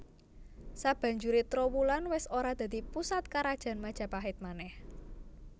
Sabanjuré Trowulan wis ora dadi pusat Karajan Majapahit manèh